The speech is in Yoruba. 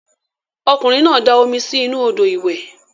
Okunrin na da omi si inu odo iwe.